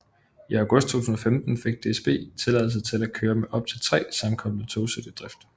I august 2015 fik DSB tilladelse til at køre med op til 3 sammenkoblede togsæt i drift